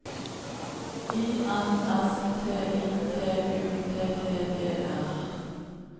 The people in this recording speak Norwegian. I N S T I T U T T E R